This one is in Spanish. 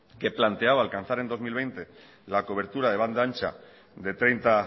que planteaba alcanzar en dos mil veinte la cobertura de banda ancha de treinta